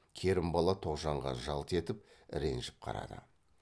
керімбала тоғжанға жалт етіп ренжіп қарады